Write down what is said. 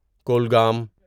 Kulgam